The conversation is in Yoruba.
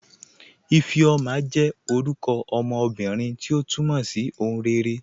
Ifeoma jẹ́ orúkọ ọmọ ọmọbírín, tí o túmọ̀ sí "ọ̀hùn rẹ̀ré.